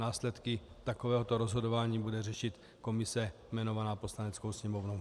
Následky takovéhoto rozhodování bude řešit komise jmenovaná Poslaneckou sněmovnou.